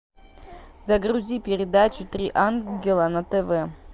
загрузи передачу три ангела на тв